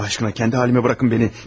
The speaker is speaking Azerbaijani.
Allah aşkına, kəndi halimə buraxın məni.